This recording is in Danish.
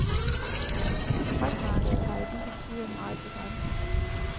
Fragtmarkedet var i disse tider meget begrænset.